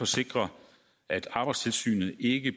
sikre at arbejdstilsynet ikke